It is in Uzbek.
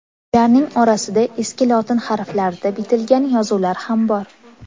Ularning orasida eski lotin harflarida bitilgan yozuvlar ham bor.